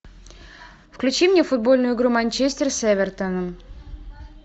включи мне футбольную игру манчестер с эвертоном